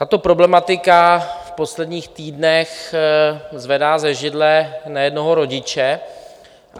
Tato problematika v posledních týdnech zvedá ze židle nejednoho rodiče.